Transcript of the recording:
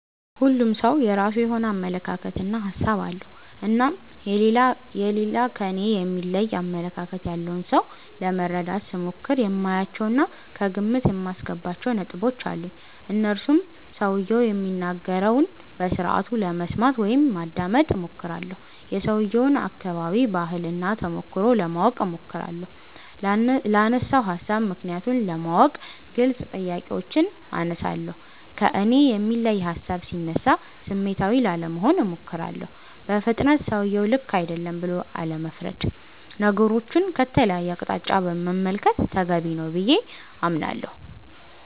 ሁሉም ሠው የራሱ የሆነ አመለካከት እና ሀሣብ አለው። እናም የሌላ ከኔ የሚለይ አመለካከት ያለውን ሠው ለመረዳት ስሞክር የማያቸው እና ከግምት የማስገባቸው ነጥቦች አሉኝ። እነርሱም ሠውየው የሚናገረውን በስርአቱ ለመስማት (ማዳመጥ ) እሞክራለሁ። የሠውየውን አከባቢ፣ ባህል እና ተሞክሮ ለማወቅ እሞክራለሁ። ላነሣው ሀሣብ ምክንያቱን ለማወቅ ግልጽ ጥያቄዎችን አነሣለሁ። ከእኔ የሚለይ ሀሣብ ሢነሣ ስሜታዊ ላለመሆን እሞክራለሁ። በፍጥነት ሠውየው ልክ አይደለም ብሎ አለመፍረድ። ነገሮቹን ከተለየ አቅጣጫ መመልከት ተገቢ ነው ብዬ አምናለሁ።